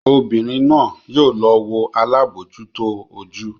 Obìnrín náa yóò lọ wọ alabojuto ojú.